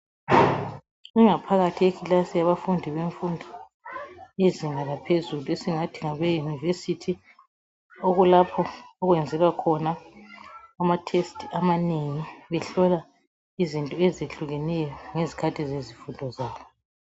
Ingaphakathi yekilasi yabafundi bemfundo yezinga laphezulu esingathi ngabeyunivesithi okulapho okuyenzelwa ama thesti amanengi behlola izinto ezihlukeneyo ngezikhathi zezifundo zabo .